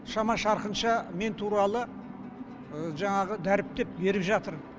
шама шарқынша мен туралы жаңағы дәріптеп беріп жатыр